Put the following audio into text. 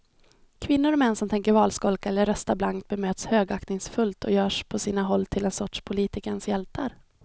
Kvinnor och män som tänker valskolka eller rösta blankt bemöts högaktningsfullt och görs på sina håll till en sorts politikens hjältar.